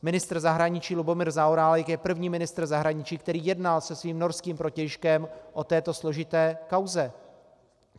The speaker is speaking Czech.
Ministr zahraničí Lubomír Zaorálek je první ministr zahraničí, který jednal se svým norským protějškem o této složité kauze.